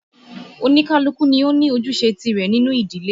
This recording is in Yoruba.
Oníkálukú ni ó ní ojúṣe tìrẹ nínú ìdílé